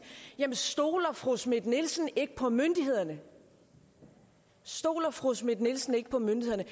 jamen stoler fru schmidt nielsen ikke på myndighederne stoler fru schmidt nielsen ikke på myndighederne